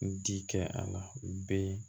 N ti kɛ a la b'i